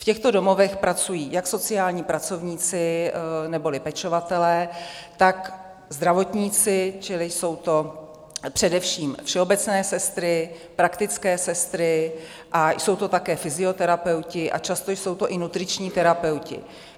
V těchto domovech pracují jak sociální pracovníci neboli pečovatelé, tak zdravotníci, čili jsou to především všeobecné sestry, praktické sestry a jsou to také fyzioterapeuti a často jsou to i nutriční terapeuti.